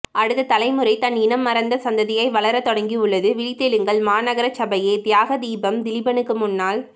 அடுத்த தலைமுறை தன் இனம் மறந்த சந்ததியாய் வளரத்தொடங்கியுள்ளது விழித்தெழுங்கள் மாநகரசபையே தியாகதீபம் திலீபனுக்கு முன்னால்